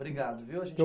Obrigada, viu! A gente